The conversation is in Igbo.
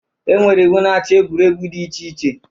E nwere iwu na-achị egwuregwu dị iche iche.